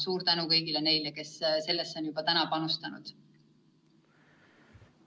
Suur tänu kõigile neile, kes sellesse on juba panustanud!